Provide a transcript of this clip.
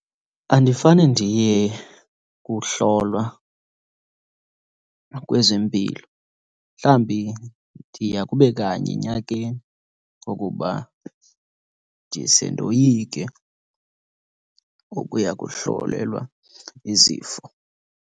Andifane ndiye kuhlolwa kwezempilo. Mhlawumbi ndiya kube kanye enyakeni kokuba ndise ndoyike ukuya kuhlolelwa izifo.